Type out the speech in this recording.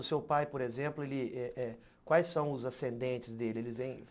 O seu pai, por exemplo, ele eh eh quais são os ascendentes dele? ele vem